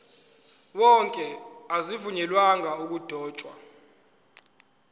wonke azivunyelwanga ukudotshwa